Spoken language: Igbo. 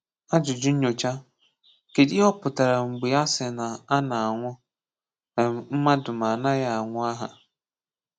Àjùjù̀ Nnyòchà: Kèdụ̀ ihè ọ̀ pụtarà mgbè à sị̀ nà À na-anwụ̀ um mmadụ̀ mà à nàghị̀ anwụ̀ àhà?